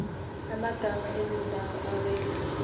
amagama ezindawo awela